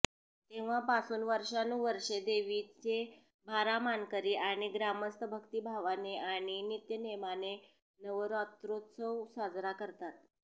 तेव्हापासून वर्षानुवर्षे देवीचे बारा मानकरी आणि ग्रामस्थ भक्तिभावाने आणि नित्यनेमाने नवरात्रोत्सव साजरा करतात